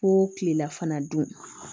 Ko kilela fana dun